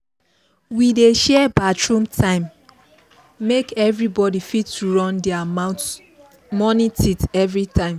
we dey share bathroom time make everybody fit run their morning teeth routine